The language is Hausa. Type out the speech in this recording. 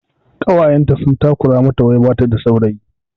Ƙawayenta sun takura mata wai bata da saurayi